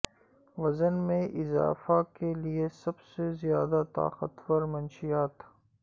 وزن میں اضافہ کے لئے سب سے زیادہ طاقتور منشیات